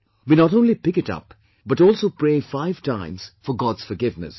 We not only pick it up but also pray five times for God's forgiveness